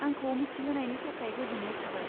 आंखौ मिथिहोनायनि थाखाय गोजोन्नाय थाबाय।